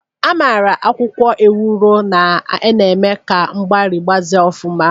A mara akwụkwọ Ewuro na-eme ka mgbari mgbaze ofuma.